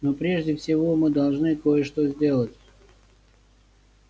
но прежде всего мы должны кое-что сделать